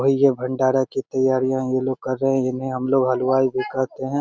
होय या भंडारा के तैयारियां ये लोग कर रहे है इन्हें हमलोग हलवाई भी कहते है।